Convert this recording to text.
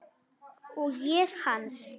Og ég hans.